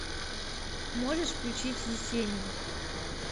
можешь включить есенин